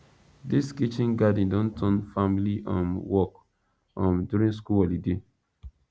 dis kitchen garden don turn family um work um during school holiday